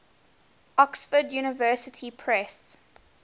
oxford university press